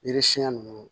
Yiri siɲɛ nunnu